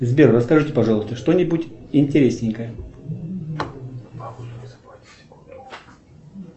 сбер расскажите пожалуйста что нибудь интересненькое